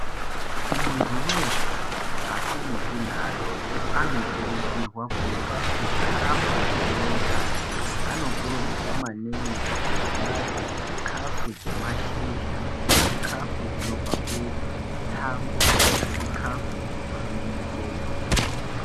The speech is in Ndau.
Muntu weshe akurutu neadoko anokurudzirwa kurye chikafu chine utano anokurudzirwa maningi kurya chikafu chemashizha, chikafu chinobva mutsango nechikafu chinobva mumuchero.